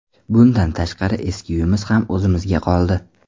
Bundan tashqari, eski uyimiz ham o‘zimizga qoldi.